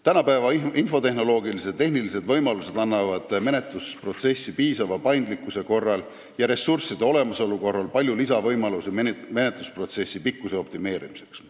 Tänapäeva infotehnoloogilised ja tehnilised võimalused annavad menetlusprotsessi piisava paindlikkuse ja ressursside olemasolu korral palju lisavõimalusi menetlusprotsessi pikkust optimeerida.